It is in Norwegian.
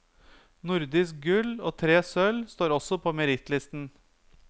Nordisk gull og tre sølv står også på merittlisten.